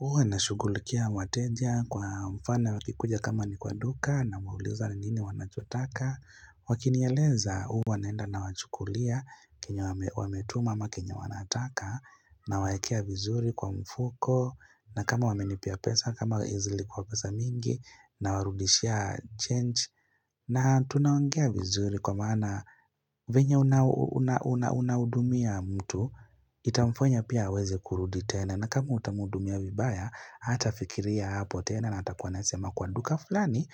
Uwa nashugulikia wateja kwa mfano wakikuja kama ni kwa duka namuliza ni nini wanachotaka Wakinyeleza uwa naenda na wachukulia kinye wametuma ama kinye wanataka Nawakea vizuri kwa mfuko na kama wamenipia pesa kama zilikwa pesa mingi na warudishia change na tunaongea vizuri kwa maana venya unaudumia mtu itamfanya pia aweze kurudi tena na kama utamudumia vibaya hata fikiria hapo tena na atakuwa nasema kwa duka fulani